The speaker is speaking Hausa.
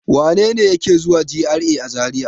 Wane ne yake zuwa GRA a Zariya?